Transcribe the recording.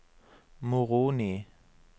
Moroni